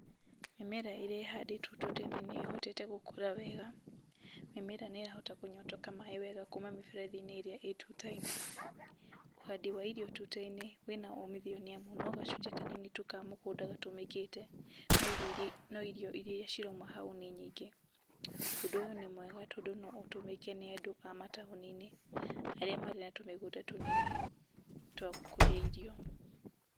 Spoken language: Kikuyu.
Hama ĩrĩa ĩrĩa ĩhandĩtwo tuta-inĩ nĩyo ĩhotete gũkũra wega, mĩmera nĩ ĩrahota kũnyotoka maĩ wega kuuma mĩberethi-inĩ ĩrĩa ĩ tuta-inĩ, ũhandi wa irio tuta-inĩ wĩna umithio nĩ amu no gacunjĩ kanini tu ka mũgũnda gatũmĩkĩte, no irio iria no irio iria cirauma hau nĩ nyingĩ. Ũndũ ũyũ nĩ mwega tondũ no ũtũmĩke nĩ andũ a mataũni-inĩ arĩa marĩ na tũmĩgũnda tũnini twa gũkũria irio.